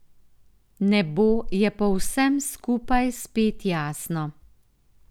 Nebo je po vsem skupaj spet jasno.